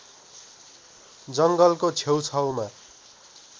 जङ्गलको छेउ छाउमा